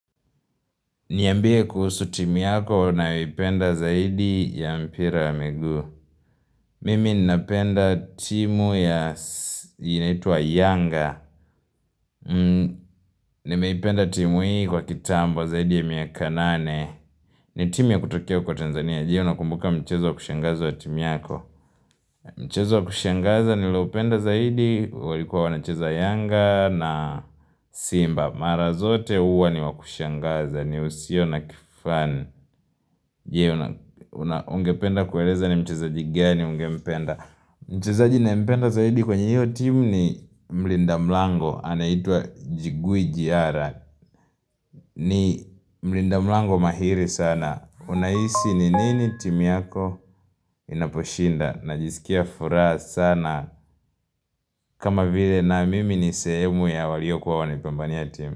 Niambie kuhusu timu yako na unayoipenda zaidi ya mpira ya miguu. Mimi ninapenda timu ya, inaitwa Yanga. Nimeipenda timu hii kwa kitambo zaidi ya miaka nane. Ni timu ya kutokea huko Tanzania. Je, unakumbuka mchezo wa kushangaza wa timu yako. Mchezo wa kushangaza nililoupenda zaidi walikuwa wanachezo Yanga na Simba. Mara zote huwa ni wa kushangaza. Ni usio na kifani. Je ungependa kueleza ni mchezaji gani ungempenda Mchezaji ninayempenda zaidi kwenye hiyo timu ni mlinda mlango. Anaitwa Jigui Jiara. Ni mlinda mlango mahiri sana Unahisi ni nini timu yako inaposhinda Najisikia furaha sana kama vile na mimi ni sehemu ya waliokuwa wanaipambania timu.